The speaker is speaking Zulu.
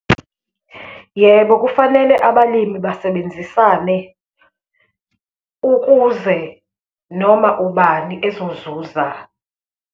Yebo, kufanele abalimi basebenzisane ukuze noma ubani ezozuza.